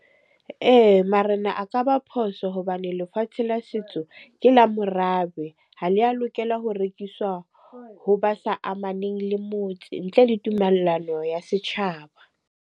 Ee, marena a ka ba phoso hobane lefatshe la setso ke la morabe. Ha le a lokela ho rekiswa ho ba sa amaneng le motse, ntle le tumellano ya setjhaba.